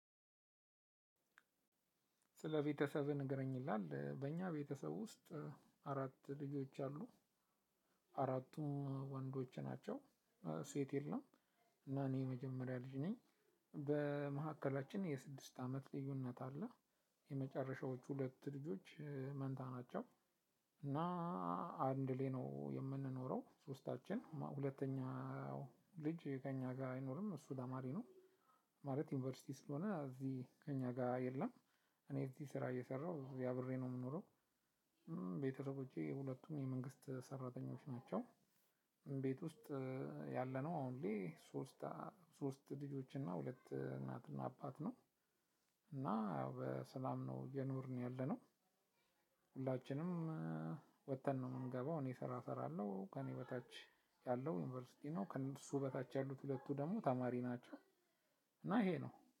ስለ ቤተሰብህ ንገረኝ ይላል፣ በእኛ ቤተሰብ ውስጥ አራት ልጆች አሉ። አራቱም ወንዶች ናቸው ሴት የለም። እና እኔ የመጀመሪያ ልጅ ነኝ በመካከላችን የስድስት አመት ልዩነት አለ። የመጨረሻዎቹ ሁለት ልጆች መንታ ናቸው። እና አንድ ላይ ነው የምንኖረው ሶስታችን። አንደኛው ልጅ ከእኛ ጋር አይኖርም እሱ ተማሪ ነው ማለት ዩኒቨርሲቲ ስለሆነ እዚህ ከእኛ ጋር የለም እኔ እዚህ ስራ እየሰራሁ እዚህ አብሬ ነው የምኖረው፤ ቤተሰቦቼ ሁለቱም የመንግስት ሰራተኞች ናቸው። ቤት ውስጥ ያለነው አሁን ሶስት ልጆች እና ሁለት እናት እና አባት ነው። እና ያው በሰላም ነው እየኖርን ያለነው። ሁላችንም ወጥተን ነው የምንገባው እኔ ስራ እሰራለሁ ከእኔ በታች ያለው ዩኒቨርሲቲ ነው፤ ከእሱ በታች ያሉት ሁለቱ ደግሞ ተማሪ ናቸው እና ይሄ ነው።